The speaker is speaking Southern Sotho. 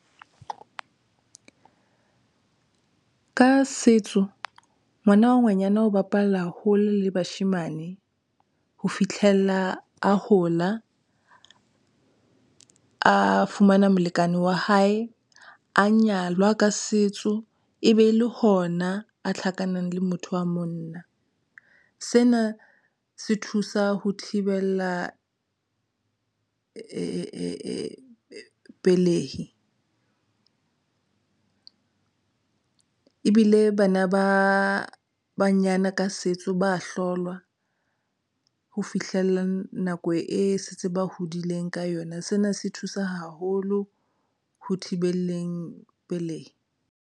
Ka setso ngwana wa ngwanyana o bapalla hole le bashemane ho fihlella a hola, a fumana molekane wa hae, a nyalwa ka setso, e be e le hona a tlhakana le motho wa monna. Sena se thusa ho thibela pelehi ebile bana ba banyana ka setso ba ahlolwa ho fihlella nako e se ntse ba hodileng ka yona. Sena se thusa haholo ho thibeleng pelehi.